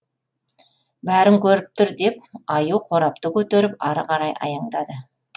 бәрін көріп тұр деп аю қорапты көтеріп ары қарай аяңдады